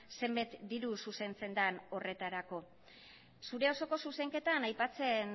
zenbat diru zuzentzen den horretarako zure osoko zuzenketan aipatzen